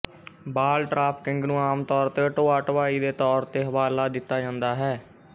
ਬਾਲ trafficking ਨੂੰ ਆਮ ਤੌਰ ਤੇ ਢੋਆ ਢੁਆਈ ਦੇ ਤੌਰ ਤੇ ਹਵਾਲਾ ਦਿੱਤਾ ਜਾਂਦਾ ਹੈ